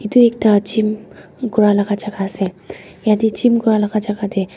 edu ekta gym kuralaka jaka ase yatae gym kuralaka jaka tae.